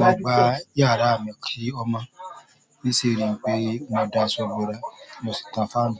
mo gbá yàrá mi kí ó mo n ṣi rí wipé mo dá aṣọ bora mọ sí tan fáànù.